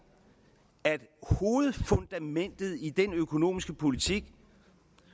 at hovedfundamentet i den økonomiske politik